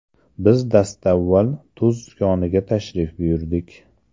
Biz dastavval tuz koniga tashrif buyurdik.